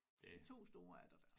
2 store er der da